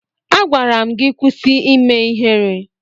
Agwara m gị kwụsị ime ihere!